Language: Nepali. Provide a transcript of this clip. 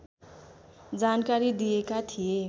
जानकारी दिएका थिए